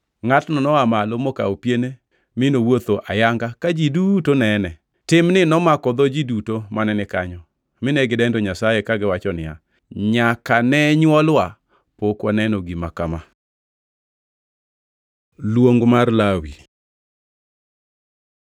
Ngʼatno noa malo mokawo piene mi nowuotho ayanga ka ji duto nene. Timni nomako dho ji duto mane ni kanyo mine gidendo Nyasaye kagiwacho niya, “Nyaka ne nywolwa pok waneno gima kama.” Luong mar Lawi